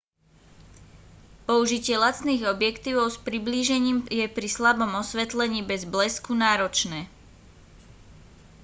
použitie lacných objektívov s priblížením je pri slabom osvetlení bez blesku náročné